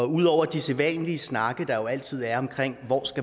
udover de sædvanlige snakke der jo altid er om hvor